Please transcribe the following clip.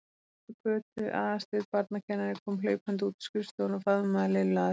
Pabbi Kötu, Aðalsteinn barnakennari, kom hlaupandi út úr skrifstofunni og faðmaði Lillu að sér.